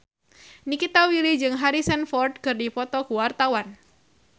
Nikita Willy jeung Harrison Ford keur dipoto ku wartawan